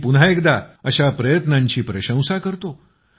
मी पुन्हा एकदा अशा प्रयत्नांची प्रशंसा करतो